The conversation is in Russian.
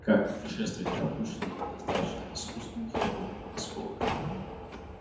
как путешествует пропущенный недостаточно искусным хирургом осколок